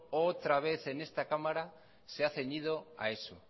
otra vez en esta cámara se ha ceñido